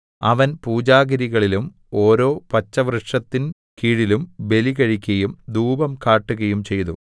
അവൻ പൂജാഗിരികളിലും ഓരോ പച്ചവൃക്ഷത്തിൻ കീഴിലും ബലികഴിക്കയും ധൂപം കാട്ടുകയും ചെയ്തു